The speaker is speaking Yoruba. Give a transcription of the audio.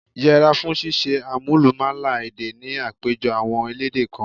Yẹra fún ṣíṣe àmúlùmálà èdè ni àpéjọpọ̀ àwọn elédè kan.